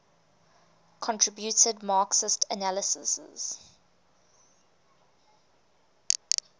contributed marxist analyses